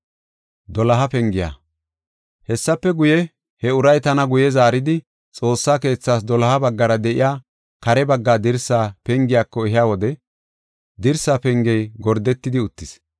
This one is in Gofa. Hessafe guye, he uray tana guye zaaridi, Xoossa keethas doloha baggara de7iya kare bagga dirsa pengiyako ehiya wode dirsa pengey gordetidi uttis.